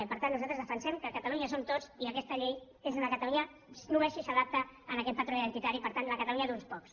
per tant nosaltres defensem que catalunya som tots i aquesta llei és d’una catalunya només si s’adapta a aquest patró identitari per tant la catalunya d’uns pocs